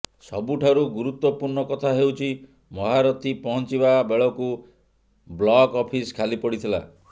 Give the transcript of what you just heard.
ସବୁଠାରୁ ଗୁରୁତ୍ୱପୂର୍ଣ୍ଣ କଥା ହେଉଛି ମହାରଥୀ ପହଂଚିବା ବେଳକୁ ବ୍ଲକ୍ ଅଫିସ ଖାଲି ପଡିଥିଲା